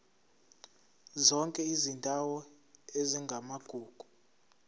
zonke izindawo ezingamagugu